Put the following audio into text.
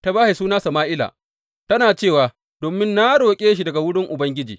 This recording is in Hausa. Ta ba shi suna Sama’ila; tana cewa, Domin na roƙe shi daga wurin Ubangiji.